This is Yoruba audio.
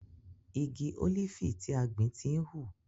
Igi ólífì tí a gbìn ti hù.